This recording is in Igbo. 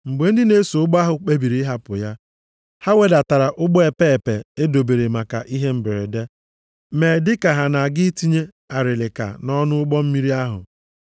Mgbe ndị na-eso ụgbọ ahụ kpebiri ịhapụ ya. Ha wedatara ụgbọ epeepe e dobere maka ihe mberede, mee dịka ha na-aga itinye arịlịka nʼọnụ ụgbọ mmiri ahụ.